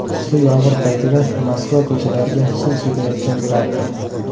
Kuchli yomg‘ir paytida Moskva ko‘chalariga suv sepayotgan traktor.